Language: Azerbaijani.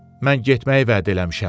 mən getməyi vəd eləmişəm.